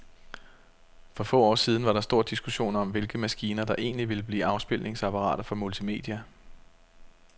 For få år siden var der stor diskussion om, hvilke maskiner, der egentlig ville blive afspilningsapparater for multimedia.